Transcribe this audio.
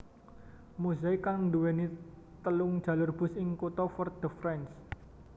Mozaik kang nduwèni telung jalur bus ing kutha Fort de France